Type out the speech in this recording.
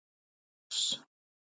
Áss